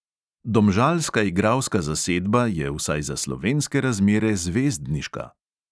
Domžalska igralska zasedba je vsaj za slovenske razmere zvezdniška.